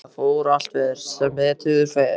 En þetta fór allt vel, sem betur fer.